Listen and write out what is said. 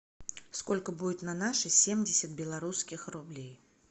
сколько будет на наши семьдесят белорусских рублей